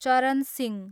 चरण सिंह